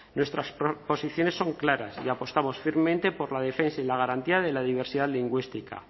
nuestras posiciones son claras y apostamos firmemente por la defensa y la garantía de la diversidad lingüística